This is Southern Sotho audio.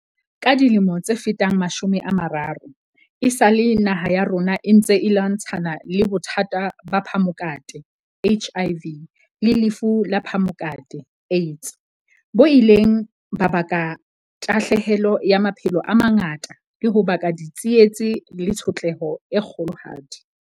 Ka dilemo tse fetang mashome a mararo, esale naha ya rona e ntse e lwantshana le bothata ba phamokate, HIV, le lefu la phamokate, AIDS, bo ileng ba baka tahlahelo ya maphelo a mangata le ho baka ditsietsi le tshotleho e kgolohadi.